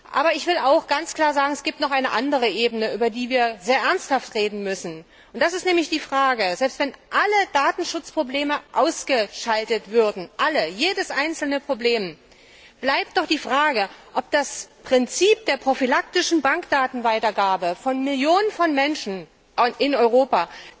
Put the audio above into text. Aber ich will auch ganz klar sagen, dass es noch eine andere Ebene gibt, über die wir sehr ernsthaft reden müssen, nämlich dass, selbst wenn alle Datenschutzprobleme ausgeschaltet würden, alle, jedes einzelne Problem, doch die Frage bleibt, ob das Prinzip der prophylaktischen Bankdatenweitergabe von Millionen von Menschen in Europa